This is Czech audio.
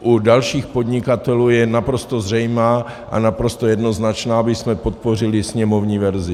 u dalších podnikatelů je naprosto zřejmá a naprosto jednoznačná, abychom podpořili sněmovní verzi.